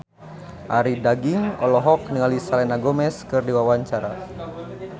Arie Daginks olohok ningali Selena Gomez keur diwawancara